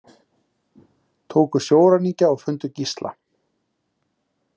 Tóku sjóræningja og fundu gísla